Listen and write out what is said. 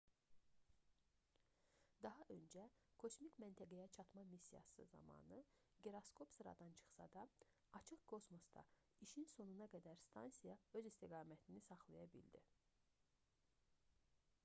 daha öncə kosmik məntəqəyə çatma missiyası zamanı giroskop sıradan çıxsa da açıq kosmosda işin sonuna qədər stansiya öz istiqamətini saxlaya bildi